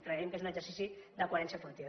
creiem que és un exercici de coherència política